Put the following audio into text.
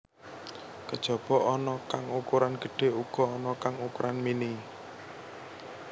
Kejaba ana kang ukuran gedhé uga ana kang ukuran mini